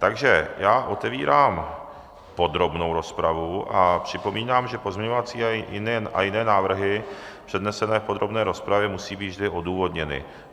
Takže já otevírám podrobnou rozpravu a připomínám, že pozměňovací a jiné návrhy přednesené v podrobné rozpravě musí být vždy odůvodněny.